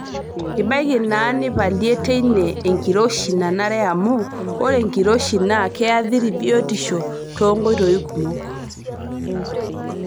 Tbaiki naa nipalie teine enkiroshi nanare amu ore enkiroshi naa keathiri biotisho too nkoitoi kumok.